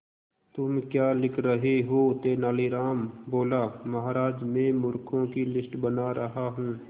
तुम क्या लिख रहे हो तेनालीराम बोला महाराज में मूर्खों की लिस्ट बना रहा हूं